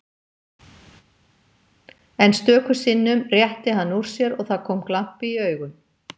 En stöku sinnum rétti hann úr sér og það kom glampi í augun.